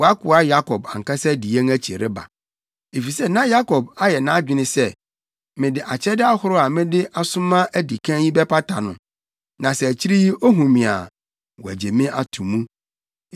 ‘Wʼakoa Yakob ankasa di yɛn akyi reba.’ ” Efisɛ na Yakob ayɛ nʼadwene sɛ, “Mede akyɛde ahorow a mede asoma adi kan yi bɛpata no, na sɛ akyiri yi ohu me a, wagye me ato mu.”